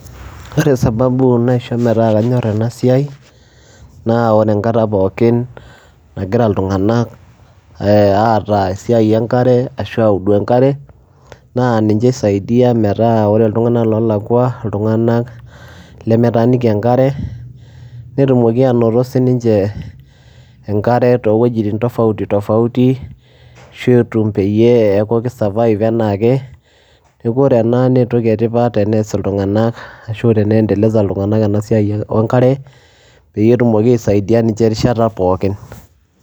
Wore sababu naisho metaa kanyorr ena siai, naa wore enkata pookin nakira iltunganak eh aata esiai enkare ashu audu enkare, naa ninche isaidia metaa ore iltunganak oolakua, iltunganak lemetaaniki enkare. Netumoki ainoto sininche, enkare toowojitin tofauti tofauti ashu etum peyie eeku ki[survive enaake. Neeku wore ena naa entoki etipat tenees iltunganak ashu teni endeleza iltunganak ena siai oenkare, peeyie etumoki aisaidia ninche rishata pookin